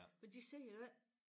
Men de ser jo ikke